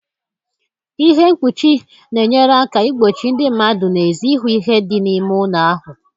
Ihe mkpuchi na-enyere aka igbochi ndị mmadụ n'èzí ịhụ ihe dị n'ime ụlọ ahụ